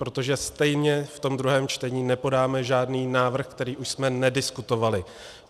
Protože stejně v tom druhém čtení nepodáme žádný návrh, který už jsme nediskutovali.